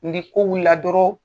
Ni ko wulila doroo